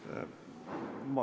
Aitäh!